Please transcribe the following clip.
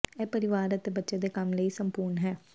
ਇਹ ਪਰਿਵਾਰ ਅਤੇ ਬੱਚੇ ਦੇ ਕੰਮ ਲਈ ਸੰਪੂਰਣ ਹੈ